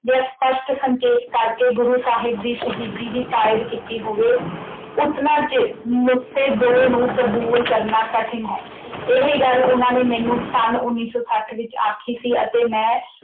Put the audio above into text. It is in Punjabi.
ਜਾਂ ਸਪੱਸ਼ਟ ਸੰਕੇਤ ਕਰਕੇ ਗੁਰੂ ਸਾਹਿਬ ਦੀ ਸ਼ਹੀਦੀ ਦੀ ਤਾਇਦ ਕੀਤੀ ਹੋਵੇ ਉਤਨਾ ਚਿਰ ਨੁਕਤੇ ਦੋ ਨੂੰ ਕਬੂਲ ਕਰਨਾ ਕਠਿਨ ਹੈ। ਇਹ ਗੱਲ ਉਹਨਾਂ ਨੇ ਮੈਨੂੰ ਸੰਨ ਉਨੀ ਸੌ ਸੱਠ ਵਿੱਚ ਆਖੀ ਸੀ ਅਤੇ ਮੈਂ